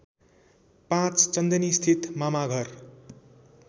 ५ चन्दनीस्थित मामाघर